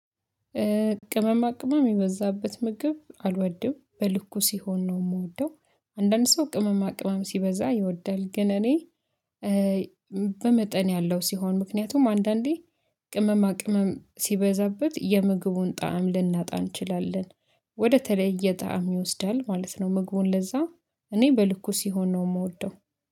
ቅመማ ቅመም የበዛበት ምግብ አልወድም በልኩ ሲሆን ነው እምወደው። አንዳንድ ሰው ቅመማ ቅመም ሲበዛ ይወዳል ግን እኔ በመጠን ያለው ሲሆን። ምክንያቱም አንዳንዴ ቅመማ ቅመም ሲበዛበት የምግቡን ጣዕም ልናጣ እንችላለን። ወደተለየ ጣዕም ይወስዳል ማለት ነው። ምግቡን ለዛ እኔ በልኩ ሲሆን ነው እምወደው